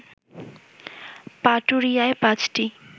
পাটুরিয়ায় পাঁচটি